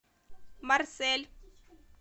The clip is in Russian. марсель